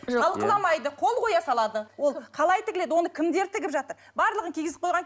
талқыламайды қол қоя салады ол қалай тігіледі оны кімдер тігіп жатыр барлығын кигізіп қойған